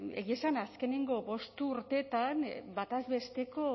egia esan azkenengo bost urteetan bataz besteko